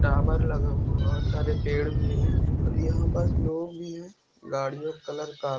लगा हुआ है बहुत सारे पेड़ भी है यहां पर लोग भी है गाड़ियों कलर का--